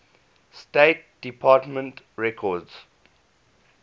state department records